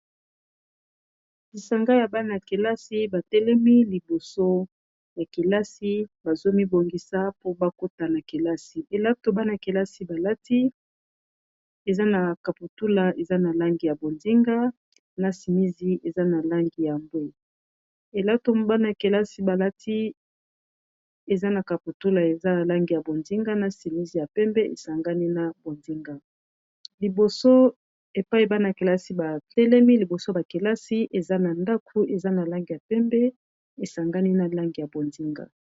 Awa ezali bongo na tongo bana liboso bakota kelasi, basalaka mulongo pote bakota na kimiya. Liboso ya kelasi ezali na langi ya pembe pe bozinga. Mingi na bango balati uniforme, elamba ya likolo eza na langi ya shokola ebongo na se kupe eza na langi ya bozonga,